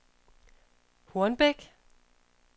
Hornbæk